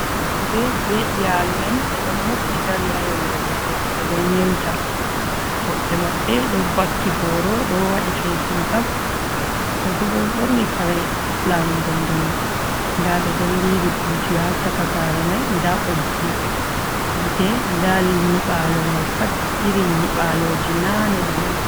Fattude be iyalu'en, ɓe ɗon mofti dari ha yonde goɗɗo, ɓe ɗon yeuta woɓɓe maɓɓe ɗo bakki boro do waɗi fesin kap. Woɓɓe bo ɗo borni kare lamu ndon ndonu, nda ɓe ɗon liiri buti ha caka sare mai, nda ɓoggi yite nda nyiɓalo mai pat iri nyiɓaloji nane ɗo'on.